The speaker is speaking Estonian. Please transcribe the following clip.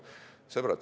Sõbrad!